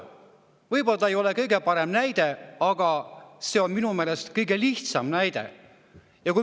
Võib-olla see ei ole kõige parem näide, aga see on minu meelest kõige lihtsam näide.